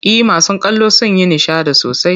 E, masu kallo sun yi nishadi sosai.